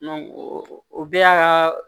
o bɛɛ y'a ka